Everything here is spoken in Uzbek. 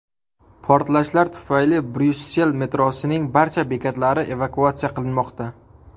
Portlashlar tufayli Bryussel metrosining barcha bekatlari evakuatsiya qilinmoqda.